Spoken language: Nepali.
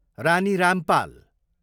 रानी रामपाल